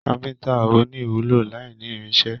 Káfíntà o ní ìwúlò l'aini irinṣẹ́.